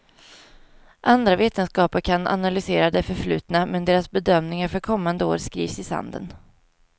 Andra vetenskaper kan analysera det förflutna, men deras bedömningar för kommande år skrivs i sanden.